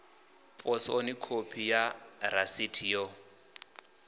posoni khophi ya rasiti yo